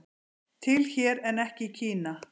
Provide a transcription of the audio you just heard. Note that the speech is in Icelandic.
Til hér en ekki í Kína